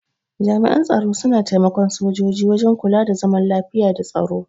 Jami'an tsaro suna taimaka sojoji wajen kuka da zaman lafiya da tsaro.